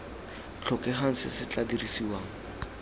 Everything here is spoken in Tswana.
tlhokegang se se tla dirisiwang